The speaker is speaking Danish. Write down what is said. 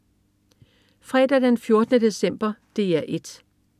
Fredag den 14. december - DR 1: